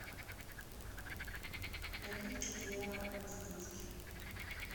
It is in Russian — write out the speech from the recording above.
напитки для разгрузки